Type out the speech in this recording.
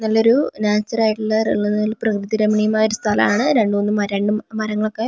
നല്ലൊരു നാച്യുറായിട്ടുള്ള പ്രകൃതി രമണീയമായൊരു സ്ഥലാണ് രണ്ട് മൂന്ന് മര മരങ്ങളൊക്കെ മെയിനാ യിട്ട് കാണാം.